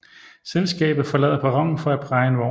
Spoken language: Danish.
Selskabet forlader perronen for at praje en vogn